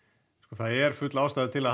það er full ástæða til